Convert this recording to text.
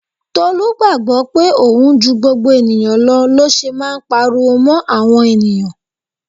Tolu gbàgbó pé òun ju gbogbo ènìyàn lọ ló ṣe máa ń pariwo mó àwọn ènìyàn.